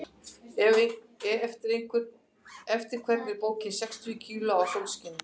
Eftir hvern er bókin Sextíu kíló af sólskini?